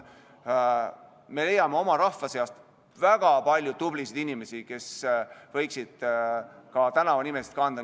Me leiame oma rahva seast väga palju tublisid inimesi, kelle nime võiksid ka tänavad kanda.